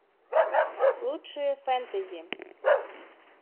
лучшие фэнтези